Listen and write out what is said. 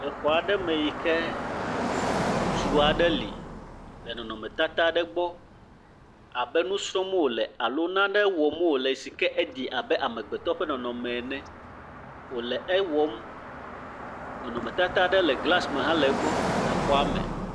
Le xɔ aɖe me yike ŋutsu aɖe li le nɔnɔ tata aɖe gbɔ abe nusrɔm wole alo nane wɔm wole sike Edo abe amegbetɔ ƒe nɔnɔme ene. Wòle ewɔ. Nɔnɔme tata aɖe le glas me le xɔa me.